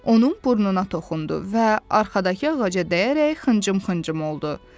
Onun burnuna toxundu və arxadakı ağaca dəyərək xıncım-xıncım oldu.